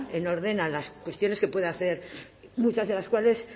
en orden a las cuestiones que pueda hacer muchas de las cuales